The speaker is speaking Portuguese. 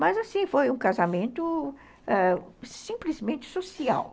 Mas assim, foi um casamento ãh simplesmente social.